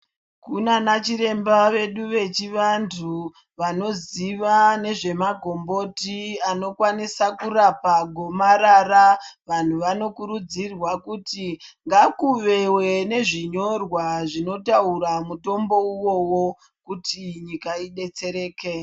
Kunana chiremba vedu vechivantu vanoziva nezvemagomboti anokwanisa kurapa gomarara. Vanhu vanokurudzirwa kuti ngakuve nezvinyorwa zvinotaura mutombo uwowo kuti nyika idetsereke.